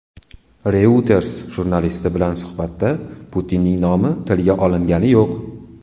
Reuters jurnalisti bilan suhbatda Putinning nomi tilga olingani yo‘q.